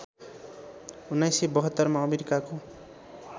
१९७२ मा अमेरिकाको